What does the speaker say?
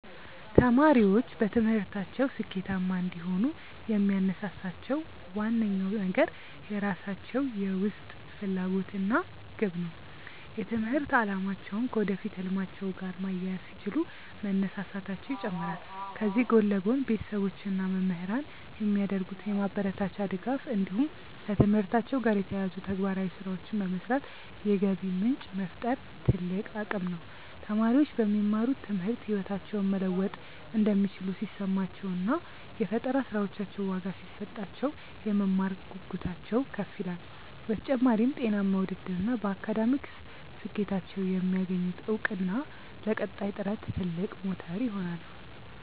ተማሪዎች በትምህርታቸው ስኬታማ እንዲሆኑ የሚያነሳሳቸው ዋነኛው ነገር የራሳቸው የውስጥ ፍላጎት እና ግብ ነው። የትምህርት አላማቸውን ከወደፊት ህልማቸው ጋር ማያያዝ ሲችሉ መነሳሳታቸው ይጨምራል። ከዚህ ጎን ለጎን፣ ቤተሰቦች እና መምህራን የሚያደርጉት የማበረታቻ ድጋፍ እንዲሁም ከትምህርታቸው ጋር የተያያዙ ተግባራዊ ስራዎችን በመስራት የገቢ ምንጭ መፍጠር ትልቅ አቅም ነው። ተማሪዎች በሚማሩት ትምህርት ህይወታቸውን መለወጥ እንደሚችሉ ሲሰማቸው እና የፈጠራ ስራዎቻቸው ዋጋ ሲሰጣቸው፣ የመማር ጉጉታቸው ከፍ ይላል። በተጨማሪም፣ ጤናማ ውድድር እና በአካዳሚክ ስኬታቸው የሚያገኙት እውቅና ለቀጣይ ጥረት ትልቅ ሞተር ይሆናሉ።